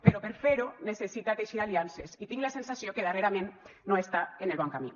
però per fer ho necessita teixir aliances i tinc la sensació que darrerament no està en el bon camí